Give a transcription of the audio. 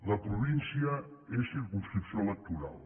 la província és circumscripció electoral